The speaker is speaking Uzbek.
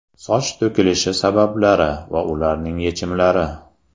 Soch to‘kilishi sabablari va ularning yechimlari.